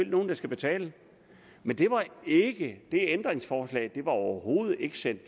nogen der skal betale men det ændringsforslag blev overhovedet ikke sendt